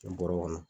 bɔrɛ kɔnɔ